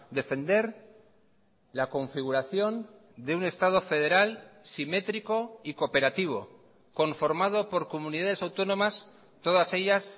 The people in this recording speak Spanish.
defender la configuración de un estado federal simétrico y cooperativo conformado por comunidades autónomas todas ellas